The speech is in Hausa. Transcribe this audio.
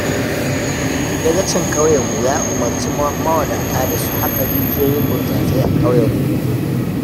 Dagacin ƙauyenmu ya umarci mawadata da su haƙa rijiyoyin burtsatsai a ƙauyenmu.